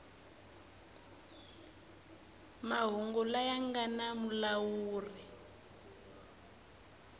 mahungu laya nga na mulawuri